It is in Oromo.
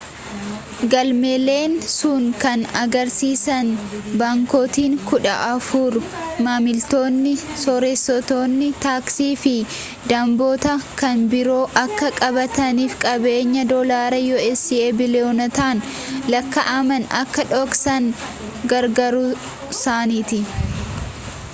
galmeeleen sun kan argisiisan baankotni kudha afur maamilootni sooressootni taaksii fi damboota kan biroo akka baqataniif qabeenya doolaara us biiliyoonotaan lakkaa'aman akka dhoksan gargaaruusaaniiti